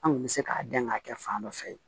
An kun bɛ se k'a dɛn k'a kɛ fan dɔ fɛ